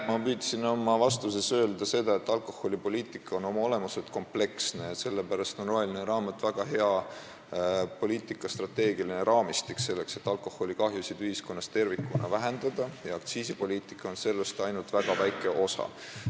Ma püüdsin oma vastuses öelda seda, et alkoholipoliitika on oma olemuselt kompleksne ja sellepärast on roheline raamat väga hea strateegiline poliitikaraamistik, selleks et alkoholikahjusid ühiskonnas tervikuna vähendada, ja aktsiisipoliitika on sellest ainult väga väike osa.